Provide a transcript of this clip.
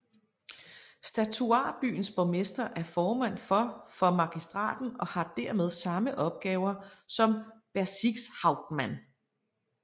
Statutarbyens borgmester er formand for for magistraten og har dermed samme opgaver som Bezirkshauptmann